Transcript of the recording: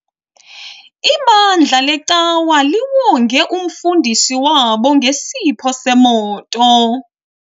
Ibandla lecawa liwonge umfundisi wabo ngesipho semoto.